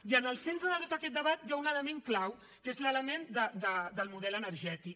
i en el centre de tot aquest debat hi ha un element clau que és l’element del model energètic